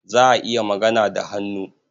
Za a iya magana da hannu.